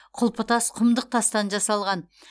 құлпытас құмдық тастан жасалған